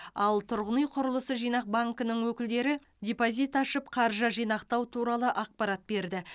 ал тұрғын үй құрылысы жинақ банкінің өкілдері депозит ашып қаржы жинақтау туралы ақпарат берді